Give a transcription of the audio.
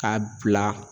K'a bila